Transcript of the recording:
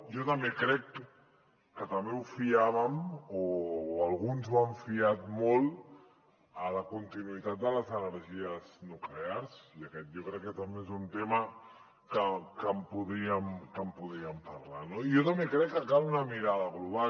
jo també crec que també ho fiàvem o alguns ho han fiat molt a la continuïtat de les energies nuclears i aquest jo crec que també és un tema que en podríem parlar no i jo també crec que cal una mirada global